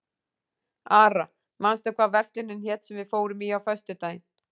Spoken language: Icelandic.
Ara, manstu hvað verslunin hét sem við fórum í á föstudaginn?